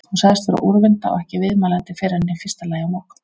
Hún sagðist vera úrvinda og ekki viðmælandi fyrren í fyrsta lagi á morgun.